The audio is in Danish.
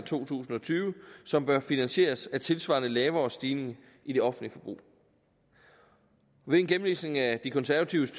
to tusind og tyve som bør finansieres af tilsvarende lavere stigning i det offentlige forbrug ved en gennemlæsning af de konservatives